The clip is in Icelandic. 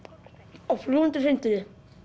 á fljúgandi hreindýrið